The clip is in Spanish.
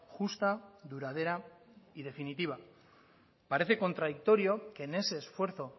justa duradera y definitiva parece contradictorio que en ese esfuerzo